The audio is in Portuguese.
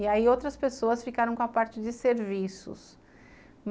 E aí outras pessoas ficaram com a parte de serviços.